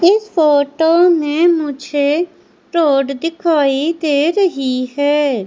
इस फोटो में मुझे रोड दिखाई दे रही है।